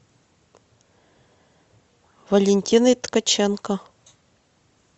валентиной ткаченко